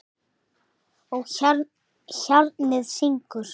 Og hjarnið syngur.